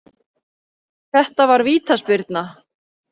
Þetta var vítaspyrna